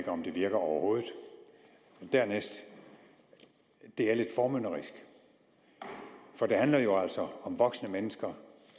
om det virker overhovedet dernæst det er lidt formynderisk for det handler jo altså om voksne mennesker